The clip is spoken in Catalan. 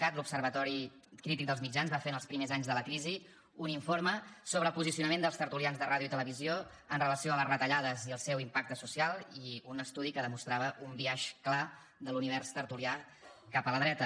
cat l’observatori crític dels mitjans va fer en els primers anys de la crisi un informe sobre el posicionament dels tertulians de ràdio i televisió amb relació a les retallades i el seu impacte social i un estudi que demostrava un biaix clar de l’univers tertulià cap a la dreta